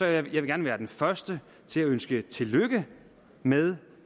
jeg vil gerne være den første til at ønske tillykke med